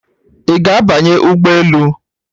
Ị ga-abanye ụgbọ elu?